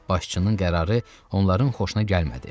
Başçının qərarı onların xoşuna gəlmədi.